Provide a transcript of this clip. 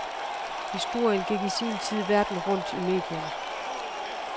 Historien gik i sin tid verden rundt i medierne.